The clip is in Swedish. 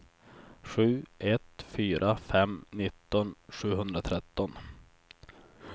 sju ett fyra fem nitton sjuhundratretton